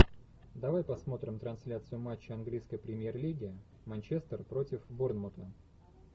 давай посмотрим трансляцию матча английской премьер лиги манчестер против борнмута